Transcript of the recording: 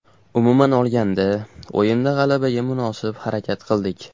Umuman olganda, o‘yinda g‘alabaga munosib harakat qildik.